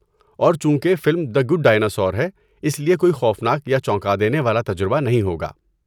اور چونکہ film the good dinosaur ہے، اس لیے کوئی خوفناک یا چونکا دینے والا تجربہ نہیں ہوگا۔